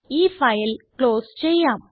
ഈ file close ചെയ്യാം